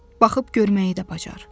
Baxıb görməyi də bacar.